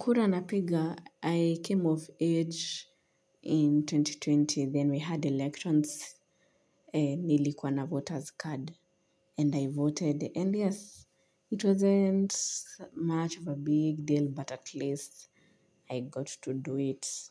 Kura na piga, I came of age in elfu mbili na ishirini, then we had elections, nilikuwa na voters card, and I voted, and yes, it wasn't much of a big deal, but at least I got to do it,